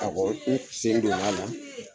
Awɔ n sen donna la